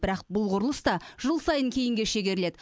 бірақ бұл құрылыс та жыл сайын кейінге шегеріледі